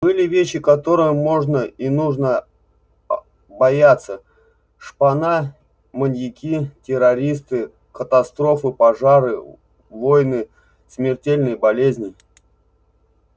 были вещи которых можно и нужно бояться шпана маньяки террористы катастрофы пожары войны смертельные болезни